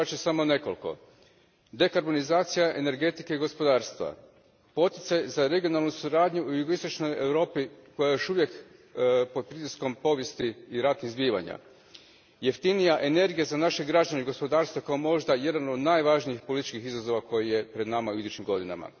Nabrojati ću samo nekoliko dekarbonizacija energetike i gospodarstva, poticaj za regionalnu suradnju u jugoistočnoj Europi koja je još uvijek pod pritiskom povijesti i ratnih zbivanja, jeftinija energija za naše građane i gospodarstvo kao možda jedan od najvažnijih političkih izazova koji je pred nama u idućim godinama.